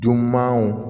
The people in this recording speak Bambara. Dunanw